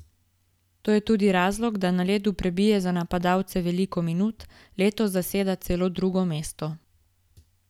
To je tudi razlog, da na ledu prebije za napadalce veliko minut, letos zaseda celo drugo mesto.